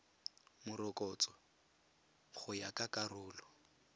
morokotso go ya ka karolo